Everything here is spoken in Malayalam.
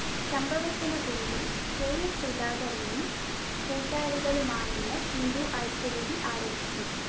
സംഭവത്തിന് പിന്നില്‍ കെയസുധാകരനും കൂട്ടാളികളുമാണെന്ന് ഹിന്ദു ഐക്യവേദി ആരോപിച്ചു